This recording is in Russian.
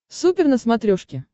супер на смотрешке